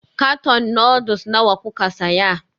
Karton noodles nawa kuka saya?